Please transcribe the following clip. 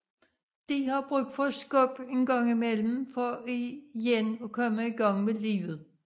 De har brug for et skub engang imellem for igen at komme i gang med livet